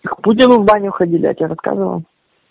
в путину в баню ходили я тебе рассказывал